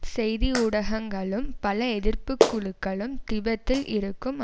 செய்தி ஊடகங்களும் பல எதிர்ப்பு குழுக்களும் திபெத்தில் இருக்கும்